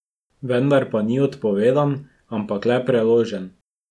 Vendar pa ni odpovedan, ampak le preložen.